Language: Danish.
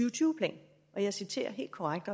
og tyve plan og jeg citerer helt korrekt